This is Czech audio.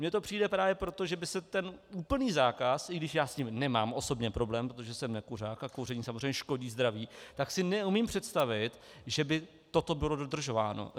Mně to přijde právě proto, že by se ten úplný zákaz, i když já s tím nemám osobně problém, protože jsem nekuřák a kouření samozřejmě škodí zdraví, tak si neumím představit, že by toto bylo dodržováno.